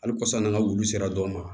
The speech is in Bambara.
Hali kɔsan n'an ka wulu sera dɔw ma